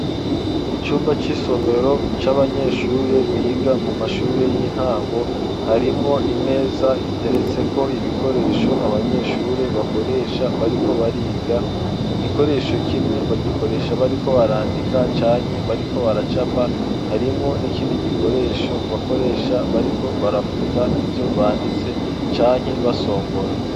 Icumba c'isomero, c'abanyeshure, biga mu mashure y'intango; harimwo imeza, iteretseko ibikoresho, abanyeshure bakoresha, bariko bariga; igikoresho kimwe, bagikoresha bariko barandika, canke bariko baracapa; harimwo n'ikindi gikoresho, bakoresha bariko barafuta, ivyo banditse, canke basongora.